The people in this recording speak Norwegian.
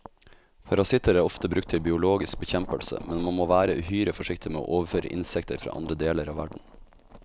Parasitter er ofte brukt til biologisk bekjempelse, men man må være uhyre forsiktig med å overføre insekter fra andre deler av verden.